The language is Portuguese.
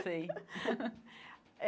Sei.